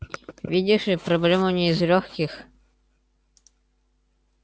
видишь ли проблемане из лёгких